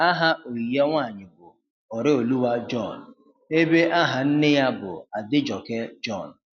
Aha oyi ya nwanyị bu Oreoluwa John, ebe aha nne ya bu Adejoke John.